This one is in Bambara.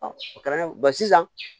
o kɛra sisan